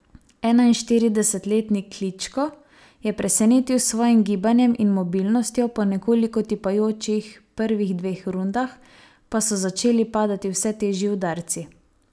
Enainštiridesetletni Kličko je presenetil s svojim gibanjem in mobilnostjo, po nekoliko tipajočih prvih dveh rundah pa so začeli padati vse težji udarci.